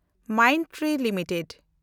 Mindtree limited